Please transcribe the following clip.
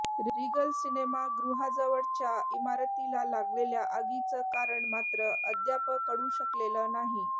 Regal सिनेमागृहाजवळच्या इमारतीला लागलेल्या आगीचं कारण मात्र अद्याप कळू शकलेलं नाही